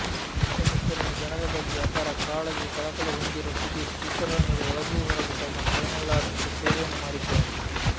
ಸುತ್ತಮುತ್ತಲಿನ ಜನರ ಬಗ್ಗೆ ಅಪಾರ ಕಾಳಜಿ ಕಳಕಳಿ ಹೊಂದಿರುವ ಸುದೀಪ್ ಚಿತ್ರರಂಗದ ಒಳಗೂ ಹೊರಗೂ ತಮ್ಮ ಕೈನಲ್ಲಾದಷ್ಟು ಸೇವೆಯನ್ನು ಮಾಡಿದ್ದಾರೆ